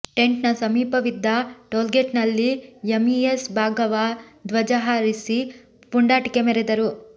ಟೆಂಟ್ನ ಸಮೀಪವಿದ್ದ ಟೋಲ್ಗೇಟ್ನಲ್ಲಿ ಎಮ್ಇಎಸ್ ಭಾಗವಾ ಧ್ವಜ ಹಾರಿಸಿ ಪುಂಡಾಟಿಕೆ ಮೆರೆದರು